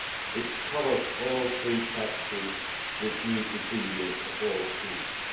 It covers all pre packed foods with meat ingredients of all species.